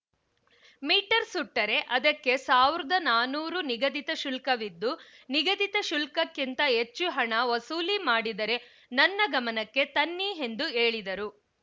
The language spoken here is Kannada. ಮೀಟರ್‌ ಸುಟ್ಟರೆ ಅದಕ್ಕೆ ಸಾವಿರದ ನಾನೂರು ನಿಗದಿತ ಶುಲ್ಕವಿದ್ದು ನಿಗದಿತ ಶುಲ್ಕಕಿಂತ ಹೆಚ್ಚು ಹಣ ವಸೂಲಿ ಮಾಡಿದರೆ ನನ್ನ ಗಮನಕ್ಕೆ ತನ್ನಿ ಎಂದು ಹೇಳಿದರು